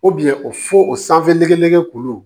o fo o sanfɛ nege nɛgɛ kuru